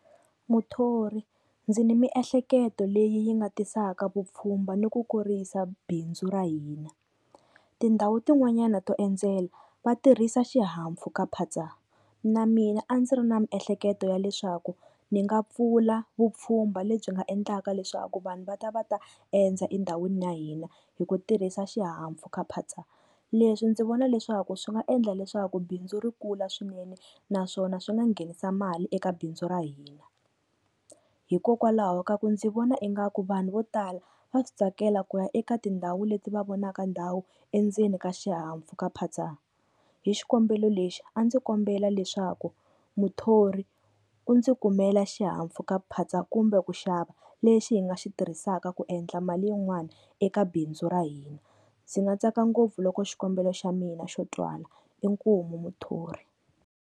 Muthori ndzi ni miehleketo leyi yi nga tisaka vupfhumba ni ku kurisa bindzu ra hina, tindhawu tin'wanyana to endzela va tirhisa xihahampfhukaphatsa. Na mina a ndzi ri na miehleketo ya leswaku ni nga pfula vupfhumba lebyi nga endlaka leswaku vanhu va ta va ta endza endhawini ya hina hi ku tirhisa xihahampfhukaphatsa. Leswi ndzi vona leswaku swi nga endla leswaku bindzu ri kula swinene, naswona swi nga nghenisa mali eka bindzu ra hina. Hikokwalaho ka ku ndzi vona ingaku vanhu vo tala va swi tsakela ku ya eka tindhawu leti va vonaka ndhawu endzeni ka xihahampfhukaphatsa. Hi xikombelo lexi a ndzi kombela leswaku muthori u ndzi kumela xihahampfhukaphatsa kumbe ku xava lexi hi nga xi tirhisaka ku endla mali yin'wana eka bindzu ra hina, ndzi nga tsaka ngopfu loko xikombelo xa mina xo twala inkomu muthori.